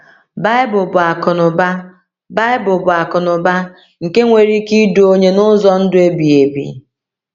Baịbụl bụ akụnụba Baịbụl bụ akụnụba nke nwere ike idu onye n’ụzọ ndụ ebighị ebi.